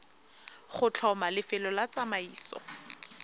go tlhoma lefelo la tsamaiso